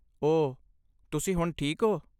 ਓਹ, ਤੁਸੀਂ ਹੁਣ ਠੀਕ ਹੋ?